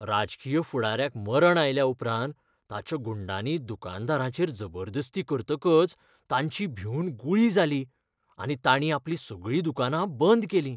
राजकीय फुडाऱ्याक मरण आयल्याउपरांत ताच्या गुंडांनी दुकानदारांचेर जबरदस्ती करतकच तांची भिवन गुळी जाली आनी ताणीं आपलीं सगळीं दुकानां बंद केलीं.